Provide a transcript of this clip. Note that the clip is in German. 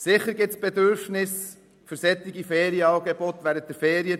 Sicher gibt es Bedürfnisse für solche Angebote während der Ferienzeit.